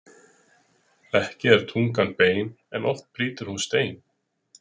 Ekki er tungan bein en oft brýtur hún stein.